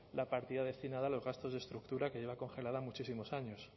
la partida destinada a los gastos de estructura que lleva congelara muchísimos años